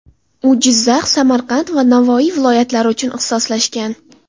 U Jizzax, Samarqand va Navoiy viloyatlari uchun ixtisoslashgan.